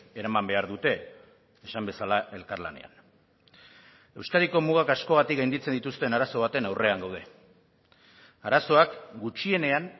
eraman behar dute esan bezala elkarlanean euskadiko mugak askogatik gainditzen dituzten arazo baten aurrean gaude arazoak gutxienean